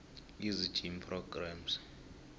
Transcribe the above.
easy gym programs